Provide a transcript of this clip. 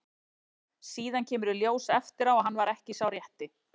Síðan kemur í ljós eftir á að hann var ekki sá rétti.